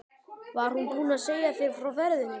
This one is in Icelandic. Var hún búin að segja þér frá ferðinni?